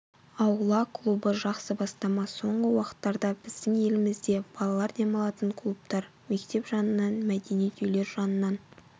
аула клубы жақсы бастама соңғы уақыттарда біздің елімізде балалар демалатын клубтар мектеп жынынан мәдениет үйлер жанынан